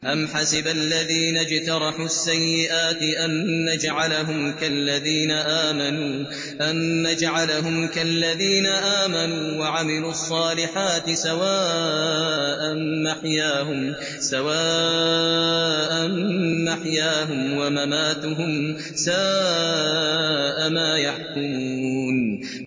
أَمْ حَسِبَ الَّذِينَ اجْتَرَحُوا السَّيِّئَاتِ أَن نَّجْعَلَهُمْ كَالَّذِينَ آمَنُوا وَعَمِلُوا الصَّالِحَاتِ سَوَاءً مَّحْيَاهُمْ وَمَمَاتُهُمْ ۚ سَاءَ مَا يَحْكُمُونَ